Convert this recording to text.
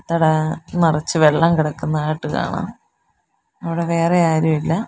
നിറച്ച് വെള്ളം കിടക്കുന്നതായിട്ട് കാണാം അവിടെ വേറെയാരുമില്ല.